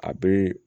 A be